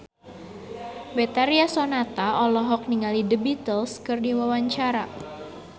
Betharia Sonata olohok ningali The Beatles keur diwawancara